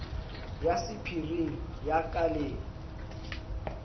ya sephiring ya ka le